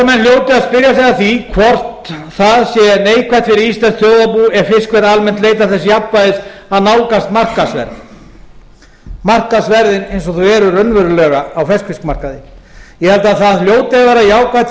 sig að því hvort það sé neikvætt fyrir íslenskt þjóðarbú ef fiskverð almennt leitar þess jafnvægis að nálgast markaðsverð markaðsverð eins og þau eru raunverulega á ferskfiskmarkaði ég held að það hljóti að vera jákvætt fyrir